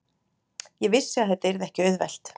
Ég vissi að þetta yrði ekki auðvelt.